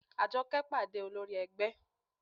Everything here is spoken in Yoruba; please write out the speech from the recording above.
Àjọkẹ́ pàdé olórí ẹgbẹ́